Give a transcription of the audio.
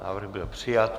Návrh byl přijat.